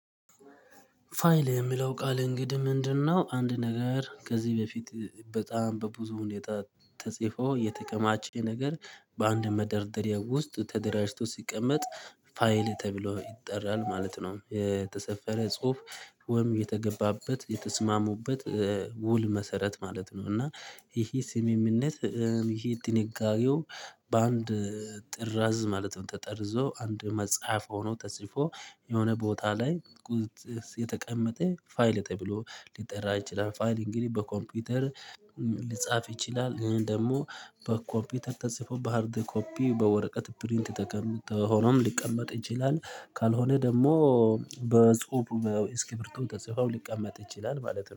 ፋይል የምለው ቃል እንግዲህ ምንድነው? አንድ ነገር ከዚህ በፊት በጣም በብዙ ሁኔታ ተጽፎ የተከማቸ ነገር በአንድ መደርደሪያ ውስጥ ተደራጅቶ ሲቀመጥ ፋይል ተብሎ ይጠራል ማለት ነው። የተሰፈረ ጽሁፍ ወይም የተገባበት የተስማሙበት ውል መሰረት ማለት ነው። እና ይሄ ስምምነት ይሄ ጥንቃቄው በአንድ ጥራዝ ማለትም ተጠርዞ አንድ መጽሐፍ ሆኖ ተጽፎ የሆነ ቦታ ላይ ቁጥ የተቀመጠ ፋይል ተብሎ ሊጠራ ይችላል። ፋይል እንግዲህ በኮምፒውተር ሊጻፍ ይችላል። እኔን ደግሞ በኮፒተር ተጽፎ በሃርድ ኮፒ በወረቀት ፕሪንት ተቀምጦ ሆኖም ሊቀመጥ ይችላል። ካልሆነ ደግሞ በጽሁፍ እስኪ ብርቱ ተጽፏ ሊቀመጥ ይችላል ማለት ነው